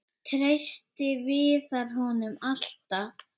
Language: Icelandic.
Treysti Viðar honum alltaf?